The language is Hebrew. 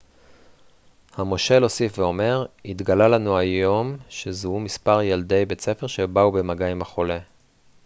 המושל הוסיף ואמר התגלה לנו היום שזוהו מספר ילדי בית ספר שבאו במגע עם החולה